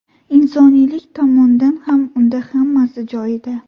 Insoniylik tomondan ham unda hammasi joyida.